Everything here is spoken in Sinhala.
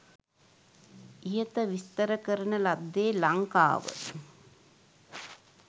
ඉහත විස්තර කරන ලද්දේ ලංකාව